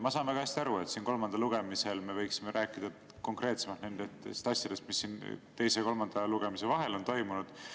Ma saan väga hästi aru, et kolmandal lugemisel me võiksime rääkida konkreetsemalt nendest asjadest, mis siin teise ja kolmanda lugemise vahel on toimunud.